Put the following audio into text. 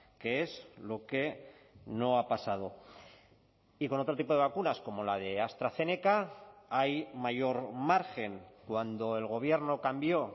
qué es lo que no ha pasado y con otro tipo de vacunas como la de astrazeneca hay mayor margen cuando el gobierno cambió